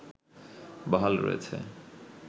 বহাল রয়েছে